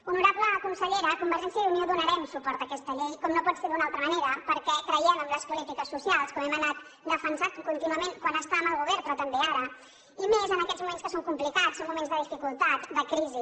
honorable consellera convergència i unió donarem suport a aquesta llei com no pot ser d’una altra manera perquè creiem en les polítiques socials com hem anat defensant contínuament quan estàvem al govern però també ara i més en aquests moments que són complicats són moments de dificultat de crisi